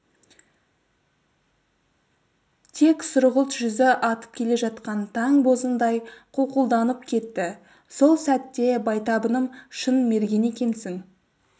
тек сұрғылт жүзі атып келе жатқан таң бозындай қуқылданып кетті сол сәтте байтабыным шын мерген екенсің